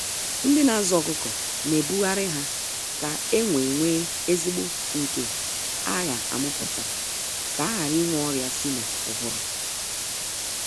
Ndị na azụ ọkụkọ na ebughari ha ka enwe nwe ezigbo nke a gha amụputa, ka aghara ịnwe ọrịa sị na ụbụrụ.